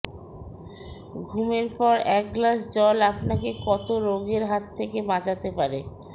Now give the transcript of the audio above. ঘুমের পর এক গ্লাস জল আপনাকে কত রোগের হাত থেকে বাঁচাতে পারে